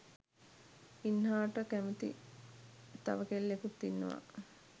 ඉන්හාට කැමති තව කෙල්ලෙකුත් ඉන්නවා